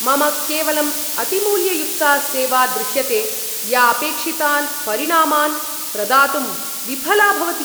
मम केवलं अतिमूल्ययुक्ता सेवा दृश्यते या अपेक्षितान् परिणामान् प्रदातुं विफला भवति।